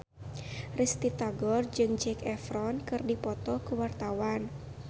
Risty Tagor jeung Zac Efron keur dipoto ku wartawan